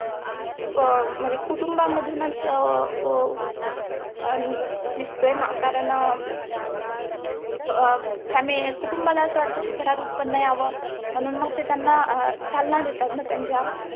अं म्हणजे कुटुंबामधूनच अं वो व आण दिसतयंना कारण अं family कुटुंबाला असं वाटतं कि घरात उत्त्पन्न यावं, म्हणून मग त्यांना चालना देतातना त्यांच्या